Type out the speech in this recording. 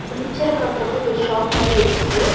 இந்த பிச்சர பாக்கறப்போ இது ஒரு ஷாப் மாரி இருக்கு.